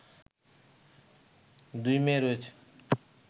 দুই মেয়ে রয়েছে